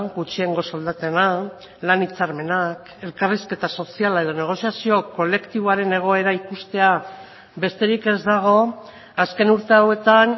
gutxiengo soldatena lan hitzarmenak elkarrizketa soziala edo negoziazio kolektiboaren egoera ikustea besterik ez dago azken urte hauetan